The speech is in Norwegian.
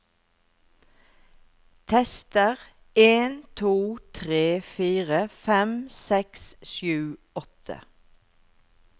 Tester en to tre fire fem seks sju åtte